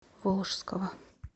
волжского